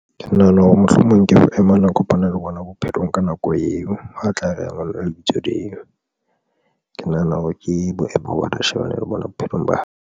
Ke nahana hore mohlomong ke boimana, kopana le bona bophelong ka nako eo, ho tla reya ngwana lebitso leo, ke nahana hore ke boemo ba shebane le bona bophelong ba hae.